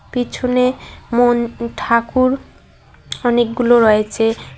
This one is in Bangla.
পিছনে মোন ঠাকুর অনেকগুলো রয়েচে।